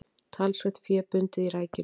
Talsvert fé bundið í rækjunni